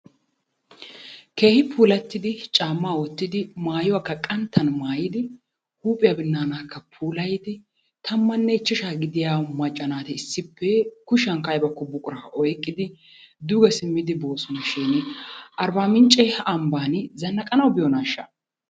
Keehi puulattidi caammaa wottidi, maayuwakka qanttan maayidi, huuphiya binnaanaakka puulayidi 15 gidiya macca naati issippe kushiyankka ayba buqurakko oyqqidi duge simmidi boosona shiini Arbbaamincce ambbaani zannaqanawu biyonaashsha?